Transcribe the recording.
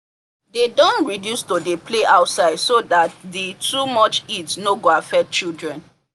they don reduce to dey play outside so that the too much heat no go affect children